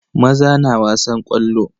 Maza na wasan ƙwallo.